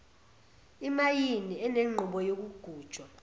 imayini enenqubo yokugujwa